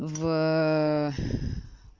в